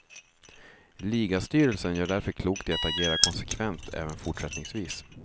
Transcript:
Ligastyrelsen gör därför klokt i att agera konsekvent även fortsättningsvis.